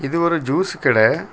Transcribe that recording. இது ஒரு ஜூஸ் கட.